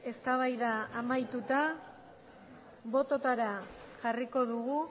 eztabaida amaituta botoetara jarriko dugu